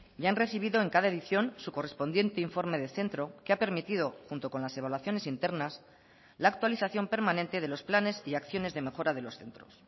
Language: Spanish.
y han recibido en cada edición su correspondiente informe de centro que ha permitido junto con las evaluaciones internas la actualización permanente de los planes y acciones de mejora de los centros